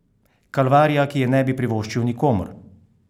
Kalvarija, ki je ne bi privoščil nikomur!